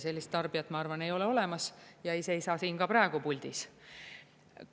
Sellist tarbijat, ma arvan, ei ole olemas ja ei seisa siin ka praegu puldis.